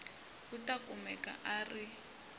u ta kumeka a ri